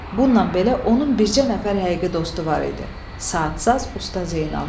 Bununla belə onun bircə nəfər həqiqi dostu var idi, Saat saz usta Zeynal.